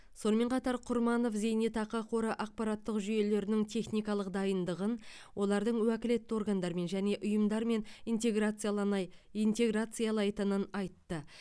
сонымен қатар құрманов зейнетақы қоры ақпараттық жүйелердің техникалық дайындығын олардың уәкілетті органдармен және ұйымдармен интеграцияланай интеграциялайтынын айтты